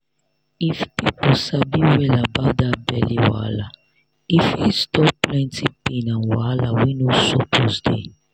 if people sabi well about that belly wahala e fit stop plenty pain and wahala wey no suppose dey.